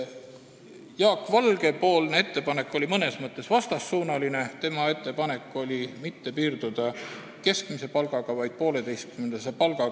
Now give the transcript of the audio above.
Jaak Valge ettepanek oli mõnes mõttes vastassuunaline, tema ettepanek oli mitte piirduda keskmise palgaga, vaid kehtestada kriteeriumiks 1,5 keskmist palka.